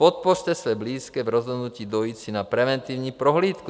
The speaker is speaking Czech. Podpořte své blízké v rozhodnutí dojít si na preventivní prohlídku.